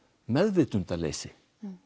meðvitundarleysi